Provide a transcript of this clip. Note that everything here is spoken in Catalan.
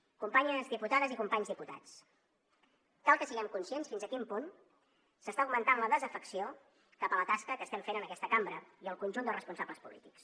companyes diputades i companys diputats cal que siguem conscients fins a quin punt s’està augmentant la desafecció cap a la tasca que estem fent en aquesta cambra i el conjunt dels responsables polítics